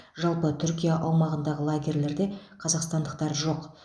жалпы түркия аумағындағы лагерьлерде қазақстандықтар жоқ